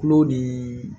Tulo ni